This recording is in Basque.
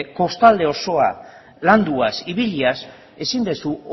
kostalde osoa landuaz ibiliaz ezin dezu